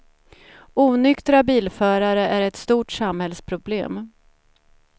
Onyktra bilförare är ett stort samhällsproblem.